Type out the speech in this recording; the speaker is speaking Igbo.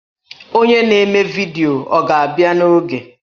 Onye na-eme vidiyo ọ ga-abịa n'oge?